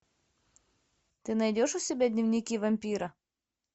ты найдешь у себя дневники вампира